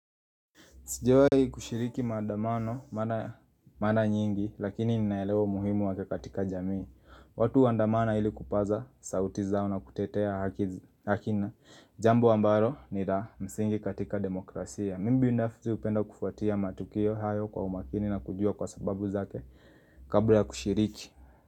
Sijawahi kushiriki maandamano, maana nyingi, lakini ninaelewa muhimu wake katika jamii. Watu huandamana ili kupaza sauti zao na kutetea haki na. Jambo ambalo ni la, msingi katika demokrasia. Mimi binafsi hupenda kufuatia matukio hayo kwa umakini na kujua kwa sababu zake kabla ya kushiriki.